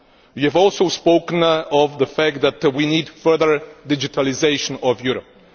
you have also spoken of the fact that we need further digitalisation of Europe.